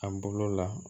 A bolo la